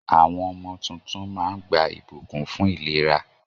Àwọn ọmọ tuntun máa ń gba ìbùkún fún ìlera.